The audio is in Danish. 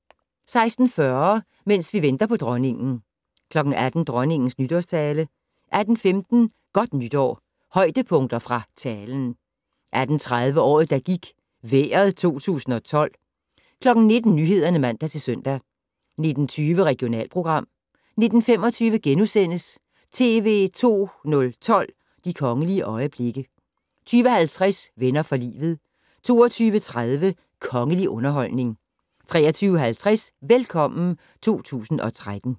16:40: Mens vi venter på Dronningen 18:00: Dronningens nytårstale 18:15: Godt nytår - højdepunkter fra talen 18:30: Året der gik - Vejret 2012 19:00: Nyhederne (man-søn) 19:20: Regionalprogram 19:25: TV 2 012: De kongelige øjeblikke * 20:50: Venner for livet 22:30: Kongelig underholdning 23:50: Velkommen 2013